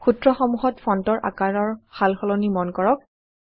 সূত্ৰসমূহত ফন্টৰ আকাৰৰ সালসলনি মন কৰক